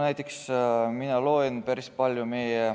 Näiteks mina loen päris palju.